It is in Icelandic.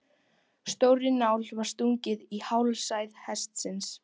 Stórri nál var stungið í hálsæð hestsins.